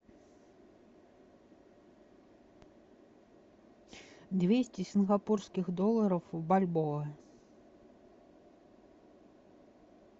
двести сингапурских долларов в бальбоа